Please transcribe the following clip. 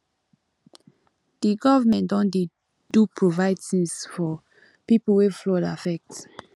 di government don dey do provide tins for pipo wey flood affect